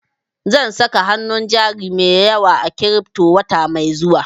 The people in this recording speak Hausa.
Zan saka hanun jari mai yawa a kiripto wata mai zuwa